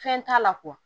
Fɛn t'a la